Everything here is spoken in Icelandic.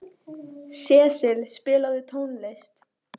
Sesil, spilaðu tónlist.